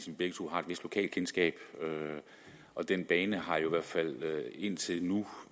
vi begge to har et vist lokalkendskab og den bane har i hvert fald indtil nu